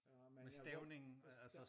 Men jeg godt forstår